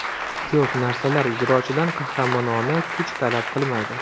Ko‘p narsalar ijrochidan qahramonona kuch talab qilmaydi.